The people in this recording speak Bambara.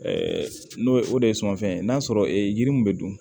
n'o ye o de ye sumanfɛn ye n'a sɔrɔ yiri min bɛ dun